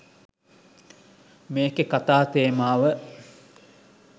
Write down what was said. මේකේ කතා තේමාව.